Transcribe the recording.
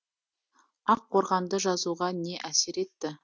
ақ қорғанды жазуға не әсер етті